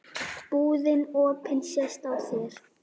Búðin opin sést á þér.